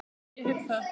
Já, ég hef það.